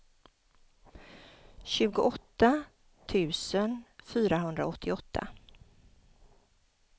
tjugoåtta tusen fyrahundraåttioåtta